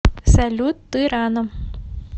салют ты рано